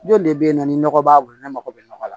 Jɔn de bɛ yen nɔ ni nɔgɔ b'a bolo ne mako bɛ nɔgɔ la